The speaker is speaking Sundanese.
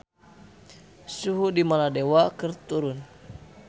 Suhu di Maladewa keur turun